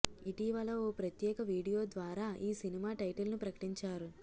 ఇటీవల ఓ ప్రత్యేక వీడియో ద్వారా ఈ సినిమా టైటిల్ను ప్రకటించారు